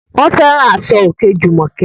Wọ́n fẹ́ràn aṣọ òkè Jùmọ̀kẹ́